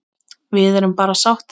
Við erum bara sáttir.